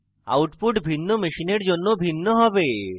output ভিন্ন machine জন্য ভিন্ন হবে